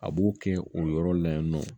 A b'o kɛ o yɔrɔ la yen nɔ